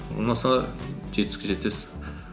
ұнаса жетістікке жетесіз